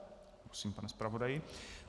Prosím, pane zpravodaji.